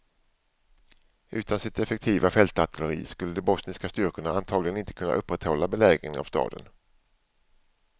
Utan sitt effektiva fältartilleri skulle de bosniska styrkorna antagligen inte kunna upprätthålla belägringen av staden.